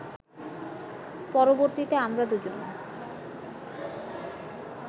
পরবর্তীতে আমরা দু’জন